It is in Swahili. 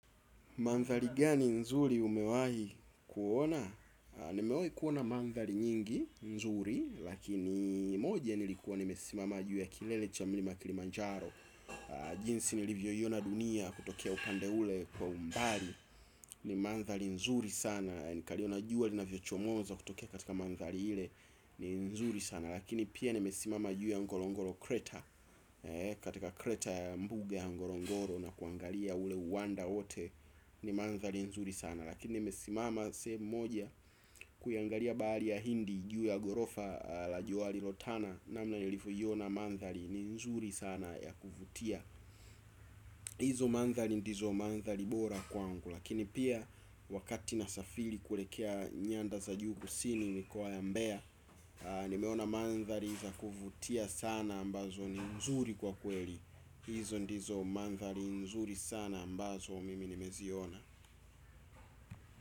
Mandhari gani nzuri umewahi kuona? Nimewai kuona mandhari nyingi, nzuri, lakini moja nilikuwa limesimama juu ya kilele cha mlima kilimanjaro. Jinsi ulivyoiona dunia kutokea upande ule kwa umbali. Ni mandhari nzuri sana, nikaliona jua linavyochomoza kutokea katika mandhari ile. Ni nzuri sana, lakini pia nimesimama juu ya ngolongolo kreta. Katika kreta ya mbuga ya ngolongoro na kuangalia ule uwanda wote ni mandhari nzuri sana lakini imesimama sehemu moja kuiangalia bahali ya hindi juu ya gorofa la jua lilotana namna ulivyoiona mandhari ni nzuri sana ya kuvutia hizo mandhari ndizo mandhari bora kwangu lakini pia wakati nasafiri kuelekea nyandha za juu kusini nikiwa mbea nimeona mandhari za kuvutia sana ambazo ni nzuri kwa kweli hizo ndizo mandhari nzuri sana ambazo mimi nimeziona.